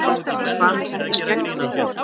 Hvað með þetta skegg þitt.